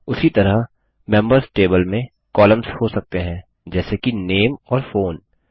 उसी तरह members table में कॉलम्स हो सकते हैं जैसे कि नामे और फोन